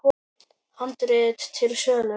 Handrit til sölu.